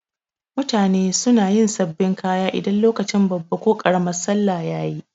Mutane suna yin sabin kaya idan lokacin babban ko karamin sallah yayi